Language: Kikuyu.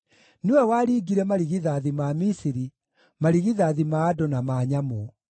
Nĩwe waringire marigithathi ma Misiri, marigithathi ma andũ na ma nyamũ.